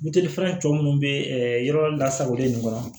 Melifɛn tɔ minnu bɛ yɔrɔ lasagolen nin kɔnɔ